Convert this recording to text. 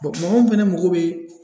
mɔgɔ min fɛnɛ mago bɛ